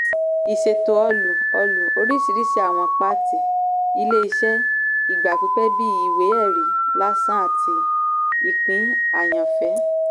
ìṣètò ọlú - ọlú - oríṣiríṣi àwọn pàtì ilé-iṣẹ́ ìgbà pípẹ́ bíi ìwé-ẹ̀rí làsàn àti ìpín àyàn-fẹ́.